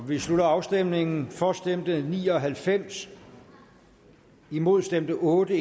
vi slutter afstemningen for stemte ni og halvfems imod stemte otte